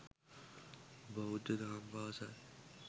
බෞද්ධ දහම් පාසල්